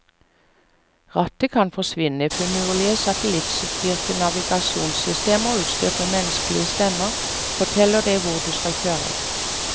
Rattet kan forsvinne, finurlige satellittstyrte navigasjonssystemer utstyrt med menneskelig stemme forteller deg hvor du skal kjøre.